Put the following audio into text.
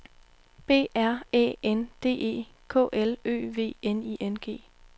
B R Æ N D E K L Ø V N I N G